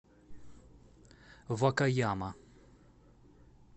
вакаяма